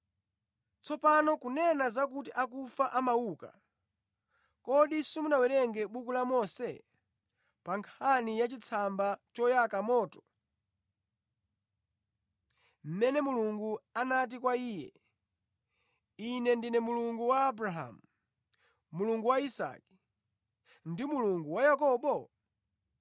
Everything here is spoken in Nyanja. Tsopano kunena zakuti akufa amauka, kodi simunawerenge mʼbuku la Mose, pa nkhani yachitsamba choyaka moto, mmene Mulungu anati kwa iye, ‘Ine ndine Mulungu wa Abrahamu, Mulungu wa Isake, ndi Mulungu wa Yakobo?’